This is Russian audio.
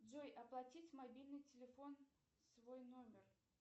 джой оплатить мобильный телефон свой номер